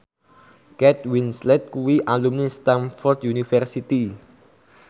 Kate Winslet kuwi alumni Stamford University